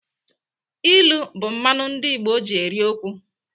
Ilu bụ mmanụ ndị Igbo ji eri okwu.